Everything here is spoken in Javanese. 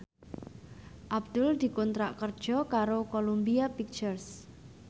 Abdul dikontrak kerja karo Columbia Pictures